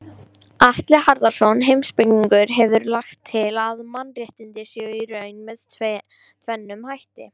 Atli Harðarson heimspekingur hefur lagt til að mannréttindi séu í raun með tvennum hætti.